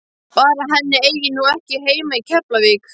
Bara að hann eigi nú ekki heima í Keflavík!